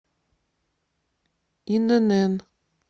инн